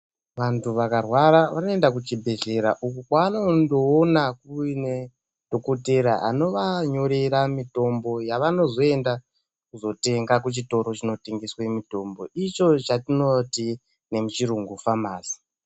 Vantu vakarwara vanoenda kuchibhedhlera uko kwavanondoona kuine dhokotera anovanyorera mitombo yavanozoenda kuzotenga kuchitoro chinotengesa mitombo icho chatinoti nemuchirungu famasi.